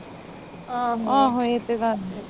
ਆਹੋ, ਆਹੋ ਇਹ ਤਾ ਗੱਲ ਹੇਗੀ।